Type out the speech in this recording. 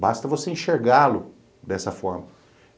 Basta você enxergá-lo dessa forma.